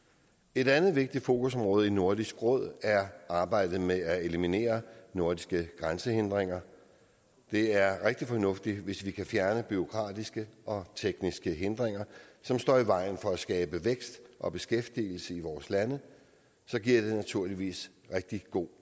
et andet vigtigt fokusområde i nordisk råd er arbejdet med at eliminere nordiske grænsehindringer det er rigtig fornuftigt hvis vi kan fjerne bureaukratiske og tekniske hindringer som står i vejen for at skabe vækst og beskæftigelse i vore lande giver det naturligvis rigtig god